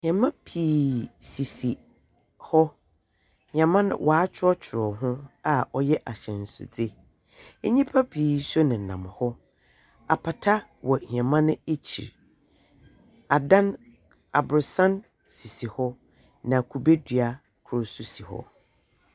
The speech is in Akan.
Hiɛɛma pii sisi hɔ hiɛɛma watworɔtworɔ ho a ɔyɛ ahyɛnsodze enyimpa pii so nenam hɔ apata wɔ hiɛɛman nekyir adan aborosan sisi hɔ na kube dua kor so si hɔ.